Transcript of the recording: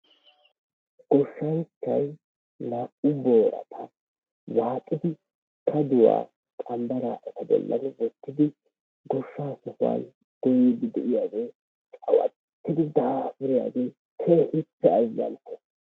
Goshanchay na'u borttaa waxiddi kaduwa qambara ettaa bollin wottidi goshaa goyiddi de'iyagge cawattidi dapurraa agge kehippe azanttes.